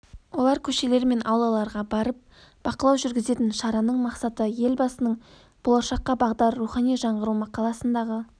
олар көшелер мен аулаларға барып бақылау жүргізген шараның мақсаты елбасының болашаққа бағдар рухани жаңғыру мақаласындағы